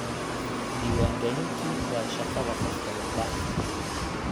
Diiwaangelintu waa shaqada qof walba.